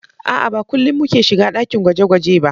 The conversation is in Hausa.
A'a, Ba kullin muke shiga ɗakin gwaje-gwaje ba